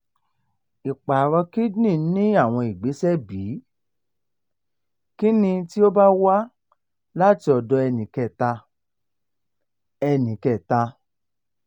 iparo kidney ni awọn igbesẹ bii? kini ti o ba wa lati ọdọ ẹnikẹta? ẹnikẹta?